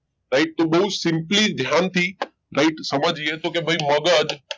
Right તો બહુ simply ધ્યાનથી right સમજીએ તો કે ભાઈ મગજ